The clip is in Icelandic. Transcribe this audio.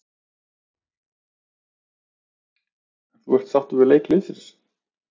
En þú ert sáttur við leik liðsins?